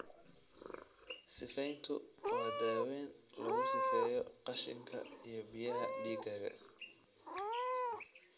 Sifeyntu waa daaweyn lagu sifeeyo qashinka iyo biyaha dhiiggaaga.